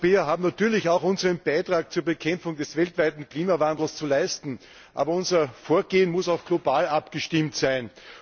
Wir Europäer haben natürlich auch unseren Beitrag zur Bekämpfung des weltweiten Klimawandels zu leisten. Aber unser Vorgehen muss auch global abgestimmt sein.